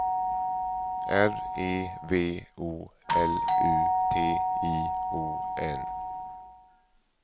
R E V O L U T I O N